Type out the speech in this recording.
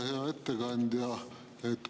Hea ettekandja!